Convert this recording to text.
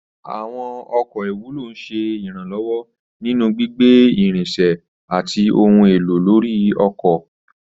Àwọn ọkọ̀ ìwúlò ń ṣe ìrànlọ́wọ́ nínú gbígbé irinṣẹ́ àti ohun èlò lórí oko.